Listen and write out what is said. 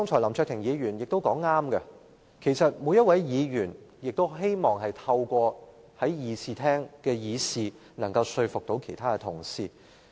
林卓廷議員剛才說得對，其實每位議員也希望透過辯論說服其他同事。